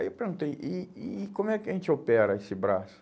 Aí eu perguntei, e e como é que a gente opera esse braço?